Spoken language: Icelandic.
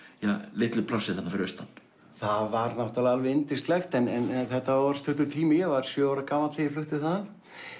litlu plássi þarna fyrir austan það var náttúrulega alveg yndislegt en þetta var stuttur tími ég var sjö ára gamall þegar ég flutti þaðan